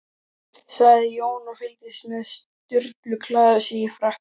sagði Jón, og fylgdist með Sturlu klæða sig í frakkann.